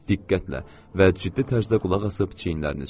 Diqqətlə və ciddi tərzdə qulaqasıb çiyinlərini çəkdi.